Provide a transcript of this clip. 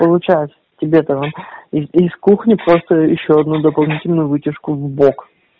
получать тебе тогда из кухни просто ещё одну дополнительную вытяжку в бок